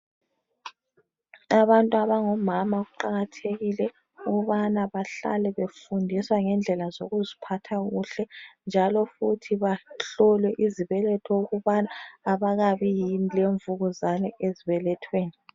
Abantu abangomama kuqakathekile ukubana bahlale befundiswa ngendlela zokuziphatha kuhle njalo futhi bahlolwe izibeletho ukubana abakabi yini lemvukuzane ezbelethweni.